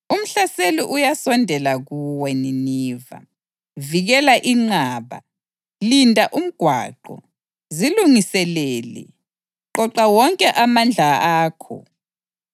Umhlaseli uyasondela kuwe, Nineve. Vikela inqaba, linda umgwaqo, zilungiselele, qoqa wonke amandla akho!